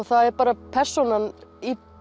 það er bara persónan